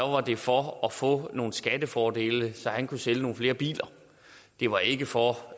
var det for at få nogle skattefordele så han kunne sælge nogle flere biler det var ikke for